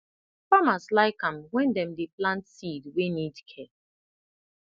farmers like am when dem dey plant seed wey need care